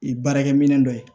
Ee baarakɛ minɛn dɔ ye